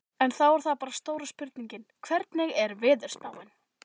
En þá er það bara stóra spurningin, hvernig er veðurspáin?